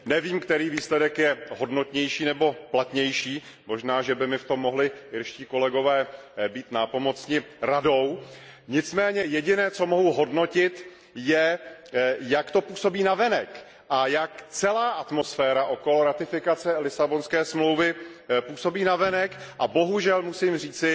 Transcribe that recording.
Nevím, který výsledek je hodnotnější nebo platnější, možná že by mi s tím mohli irští kolegové pomoci a poradit mi, nicméně jediné, co mohu hodnotit, je, jak to působí navenek a jak celá atmosféra okolo ratifikace Lisabonské smlouvy působí navenek, a bohužel musím říci,